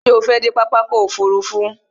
Ṣé o fẹ́ dé pápá ọkò òfurufú?